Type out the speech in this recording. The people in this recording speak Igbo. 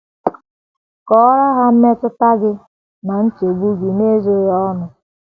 Kọọrọ ha mmetụta gị na nchegbu gị n’ezoghị ọnụ.